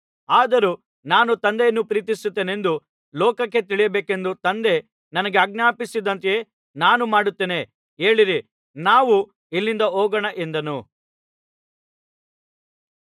ಆದರೂ ನಾನು ತಂದೆಯನ್ನು ಪ್ರೀತಿಸುತ್ತೇನೆಂದು ಲೋಕಕ್ಕೆ ತಿಳಿಯಬೇಕೆಂದು ತಂದೆ ನನಗೆ ಆಜ್ಞಾಪಿಸಿದಂತೆಯೇ ನಾನು ಮಾಡುತ್ತೇನೆ ಏಳಿರಿ ನಾವು ಇಲ್ಲಿಂದ ಹೋಗೋಣ ಎಂದನು